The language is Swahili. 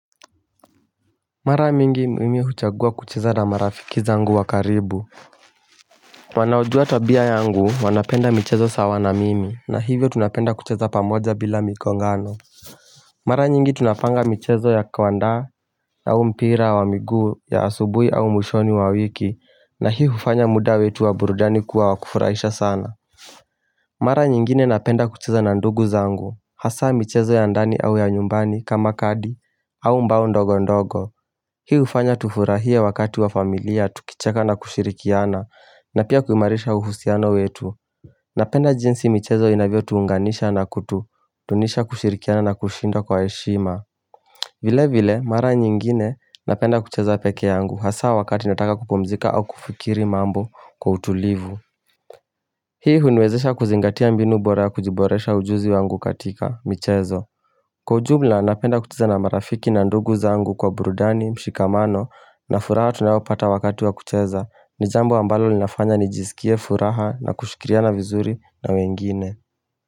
Mara mingi mimi huchagua kucheza na marafiki zangu wa karibu Wanaojua tabia yangu wanapenda michezo sawa na mimi na hivyo tunapenda kucheza pamoja bila mikongano Mara nyingi tunapanga michezo ya kauandaa au mpira wa miguu ya asubuhi au mwishoni wa wiki na hii hufanya muda wetu wa burudani kuwa wakufurahisha sana Mara nyingine napenda kucheza na ndugu zangu, hasa mchezo ya ndani au ya nyumbani kama kadi au mbao ndogo ndogo. Hi hufanya tufurahie wakati wa familia, tukicheka na kushirikiana, na pia kuimarisha uhusiano wetu. Napenda jinsi michezo inavyo tuunganisha na kutu, dunisha kushirikiana na kushindwa kwa heshima. Vile vile, mara nyingine napenda kucheza peke yangu, hasa wakati nataka kupumzika au kufikiri mambo kwa utulivu. Hii huniwezesha kuzingatia mbinu bora ya kujiboresha ujuzi wangu katika, michezo. Kwa ujumla, napenda kucheza na marafiki na ndugu zangu kwa burudani, mshikamano, na furaha tunayopata wakati wa kucheza. Ni jambo ambalo linafanya nijisikie furaha na kushikiriana vizuri na wengine.